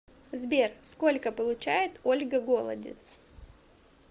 сбер сколько получает ольга голодец